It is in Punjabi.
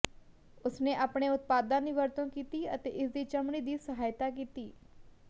ਉਸਨੇ ਆਪਣੇ ਉਤਪਾਦਾਂ ਦੀ ਵਰਤੋਂ ਕੀਤੀ ਅਤੇ ਇਸਦੀ ਚਮੜੀ ਦੀ ਸਹਾਇਤਾ ਕੀਤੀ